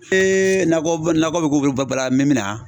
nakɔ nakɔ bɛ bala an mɛ min na